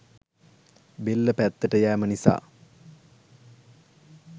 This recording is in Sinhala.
බෙල්ල පැත්තට යෑම නිසා